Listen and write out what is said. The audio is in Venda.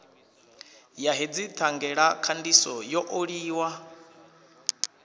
ya hedzi thangelakhandiso yo oliwa